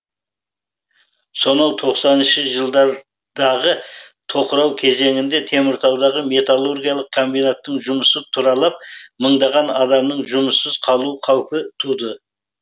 сонау тоқсаныншы жылдардағы тоқырау кезеңде теміртаудағы металлургиялық комбинаттың жұмысы тұралап мыңдаған адамның жұмыссыз қалу қаупі туды